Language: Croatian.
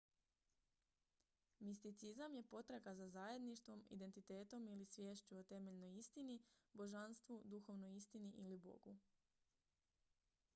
misticizam je potraga za zajedništvom identitetom ili sviješću o temeljnoj istini božanstvu duhovnoj istini ili bogu